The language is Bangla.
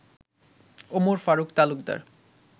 ওমর ফারুক তালুকদার